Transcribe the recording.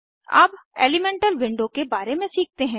अब elemental window के बारे में सीखते हैं